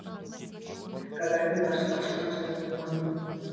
гагарин ғарышқа ұшқан жылы туғам